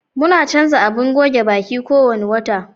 Muna canza abin goge baƙi kuwanna wata.